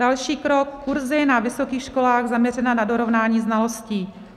Další krok: kurzy na vysokých školách zaměřené na dorovnání znalostí.